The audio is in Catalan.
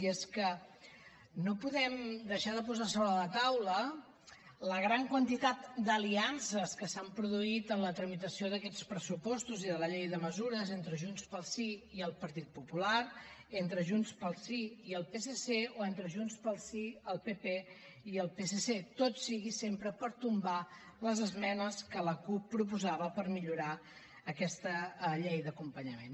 i és que no podem deixar de posar sobre la taula la gran quantitat d’aliances que s’han produït en la tramitació d’aquests pressupostos i de la llei de mesures entre junts pel sí i el partit popular entre junts pel sí i el psc o entre junts pel sí el pp i el psc tot sigui sempre per tombar les esmenes que la cup proposava per millorar aquesta llei d’acompanyament